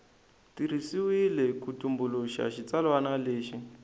tirhisiwile ku tumbuluxa xitsalwana lexi